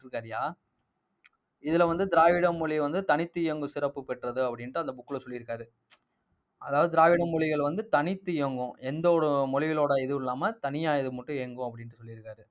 இருக்காருய்யா இதுல வந்து, திராவிட மொழி வந்து தனித்து இயங்கும் சிறப்பு பெற்றது அப்படின்னுட்டு அந்த book ல சொல்லி இருக்காரு. அதாவது, திராவிட மொழிகள் வந்து, தனித்து இயங்கும். எந்த ஒரு மொழிகளோட இதுவும் இல்லாமல் தனியா இது மட்டும் இயங்கும் அப்படின்னு சொல்லிருக்காரு